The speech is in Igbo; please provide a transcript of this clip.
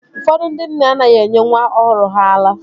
Ụfọdụ ndị nne anaghị enye nwa ọhụrụ ha ara